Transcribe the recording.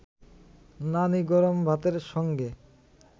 নানি গরম ভাতের সঙ্গে